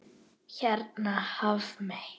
Hérna Hafmey.